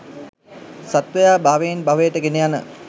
සත්වයා භවයෙන් භවයට ගෙන යන